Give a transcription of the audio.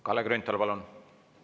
Kalle Grünthal, palun!